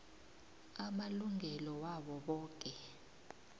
amalungelo wabo boke